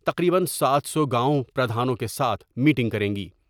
تقریباً سات سو گاؤں پردھانوں کے ساتھ میٹنگ کریں گی ۔